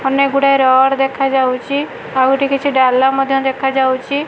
ଅନେକ ଗୁଡ଼ିଏ ରଡ଼ ଦେଖାଯାଉଚି ଆଉ ଏଠି କିଛି ଡାଲା ମଧ୍ୟ ଦେଖାଯାଉଚି।